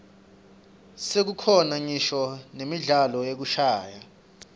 sekukhona ngisho nemidlalo yekushayana